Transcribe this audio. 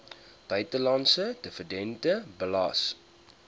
buitelandse dividende belas